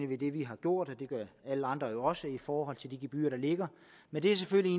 ved det vi har gjort og det gør alle andre jo også i forhold til de gebyrer der ligger men det er selvfølgelig